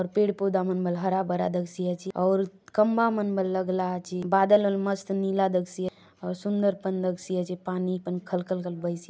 आउर पेड़ - पौधा मन बले हरा- भरा दखसी आचे आउर खंबा मन बले लगला आचे बादल बले मस्त नीला दखसी आचेआउर सुंदर पन दखसी आचे पानी पन खल - खल - खल बहसी --